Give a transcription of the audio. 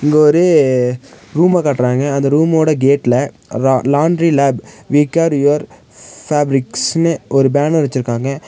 இங்க ஒரு ரூம காட்டுறாங்க அந்த ரூமோட கேட்ல லா laundry lab we care your பேப்ரிக்ஸ்னு ஒரு பேனர் வச்சுருக்காங்க.